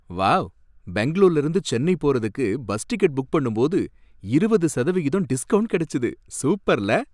wow பெங்களூர்லருந்து சென்னை போறதுக்கு bus ticket book பண்ணும்போது இருபது சதவிகிதம் டிஸ்கவுண்ட் கிடைச்சது, சூப்பர்ல